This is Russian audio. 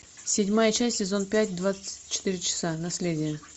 седьмая часть сезон пять двадцать четыре часа наследие